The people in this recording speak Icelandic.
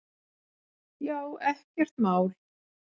Já, ekkert mál!